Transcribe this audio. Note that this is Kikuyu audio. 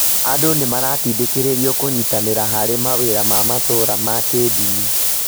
Andũ nĩ maratindĩkĩrĩrio kũnyitanĩra harĩ mawĩra ma matũũra ma kĩĩndini.